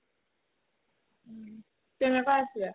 তেনেকা আছিলে